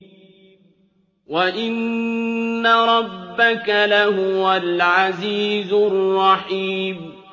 وَإِنَّ رَبَّكَ لَهُوَ الْعَزِيزُ الرَّحِيمُ